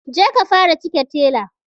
Je ka fara cike tela